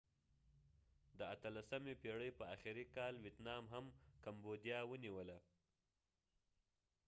د 18 اتلسمی پیړی په اخری کال ويتنام هم کمبوديا ونیوله